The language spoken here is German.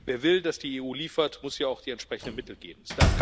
Wer will, dass die EU liefert, muss ihr auch die entsprechenden Mittel geben.